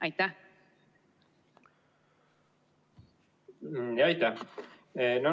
Aitäh!